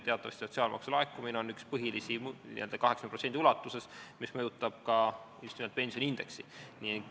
Teatavasti on sotsiaalmaksu laekumine üks põhilisi pensioniindeksi mõjutajaid, ta mõjutab seda 80% ulatuses.